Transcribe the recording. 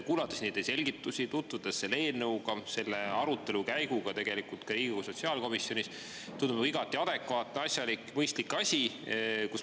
Kuulates neid selgitusi, tutvudes selle eelnõuga, ka selle arutelu käiguga Riigikogu sotsiaalkomisjonis, tundub see igati adekvaatse, asjaliku, mõistliku asjana.